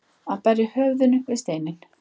Að berja höfðinu við steininn